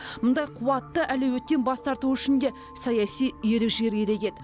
мұндай қуатты әлеуеттен бас тарту үшін де саяси ерік жігер керек еді